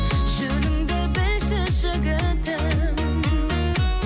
жөніңді білші жігітім